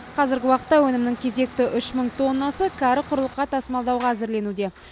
қазіргі уақытта өнімнің кезекті үш мың тоннасы кәрі құрлыққа тасымалдауға әзірленуде